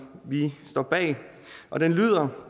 vi står bag og den lyder